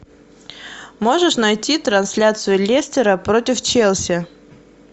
можешь найти трансляцию лестера против челси